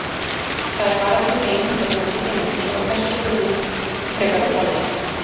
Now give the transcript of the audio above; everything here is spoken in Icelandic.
Það er bara til ein hundategund í heiminum svo að þessi spurning er frekar ruglandi.